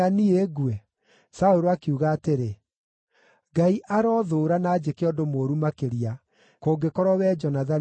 Saũlũ akiuga atĩrĩ, “Ngai arothũũra na anjĩke ũndũ mũũru makĩria, kũngĩkorwo wee Jonathani ndũgũkua.”